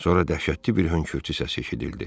Sonra dəhşətli bir hönkürtü səsi eşidildi.